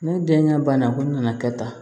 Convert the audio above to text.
Ne denkɛ banna ko ne nana kɛ tan